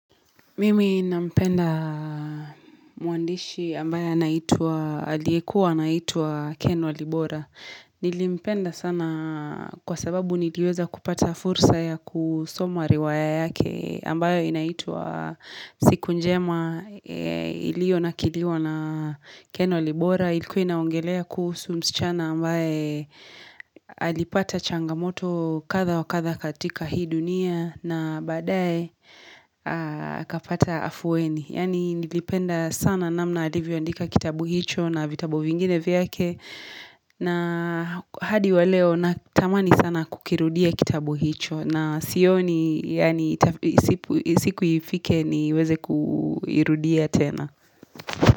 Mimi nampenda muandishi ambayo anaitua Ken walibora. Nilimpenda sana kwa sababu nilioza kupata fursa ya kusoma riwaya yake ambayo inaitwa siku njema ilio na kilio na Ken walibora. Ilikuina ongelea kuhusu msichana ambaye alipata changamoto kadha wa kadha katika hii dunia na badae kapata afuweni. Yani nilipenda sana namna alivyo andika kitabu hicho na vitabu vingine vyake na hadi wa leo natamani sana kukirudia kitabu hicho na sioni yaana siku ifike niweze kukirudia tena.